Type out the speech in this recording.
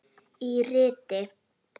Í riti